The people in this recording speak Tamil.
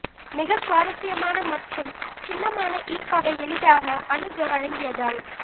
மிக சுவாரஸ்யமான மற்றும் சின்னமான ஈர்ப்பவை எளிதாக அணுக வழங்கியதால்